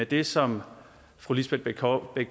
det som fru lisbeth bech